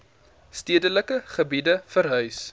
stedelike gebiede verhuis